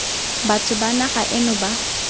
batho ba naga eno ba